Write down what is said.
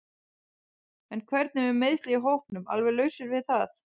En hvernig er með meiðslin í hópnum alveg lausar við það?